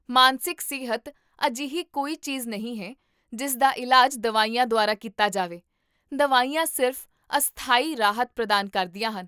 ਮਾਨਸਿਕ ਸਿਹਤ ਅਜਿਹੀ ਕੋਈ ਚੀਜ਼ਨਹੀਂ ਹੈ ਜਿਸ ਦਾ ਇਲਾਜ ਦਵਾਈਆਂ ਦੁਆਰਾ ਕੀਤਾ ਜਾਵੇ, ਦਵਾਈਆਂ ਸਿਰਫ਼ ਅਸਥਾਈ ਰਾਹਤ ਪ੍ਰਦਾਨ ਕਰਦੀਆਂ ਹਨ